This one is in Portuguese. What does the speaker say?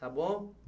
Tá bom?